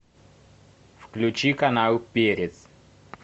включи канал перец